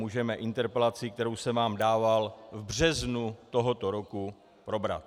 Můžeme interpelaci, kterou jsem vám dával v březnu tohoto roku probrat.